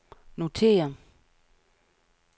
notér